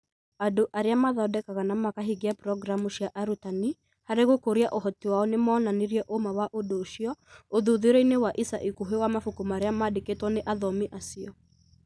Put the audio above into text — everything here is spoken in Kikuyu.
Andũ arĩa mathondekaga na makahingia programu cia arutani harĩ gũkũria ũhoti wao nĩ moonanirie ũũma wa ũndũ ũcio ũthuthuria-inĩ wa ica ikuhĩ wa mabuku marĩa maandĩkĩtwo nĩ athomi acio.